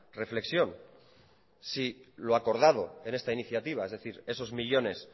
reflexión si lo acordado en esta iniciativa es decir esos millónes